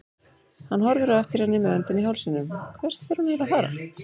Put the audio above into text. Hann horfir á eftir henni með öndina í hálsinum, hvert er hún eiginlega að fara!